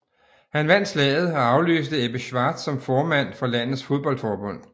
Han vandt valget og afløste Ebbe Schwartz som formand for landets fodboldforbund